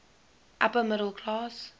upper middle class